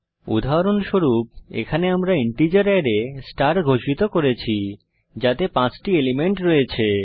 উদাহরণস্বরূপ এখানে আমরা ইন্টিজার অ্যারে স্টার ঘোষিত করেছি যাতে 5 টি এলিমেন্ট রয়েছে